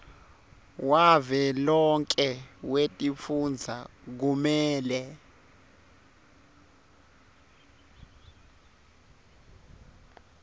wavelonkhe wetifundza kumele